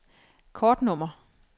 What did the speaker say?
kortnummer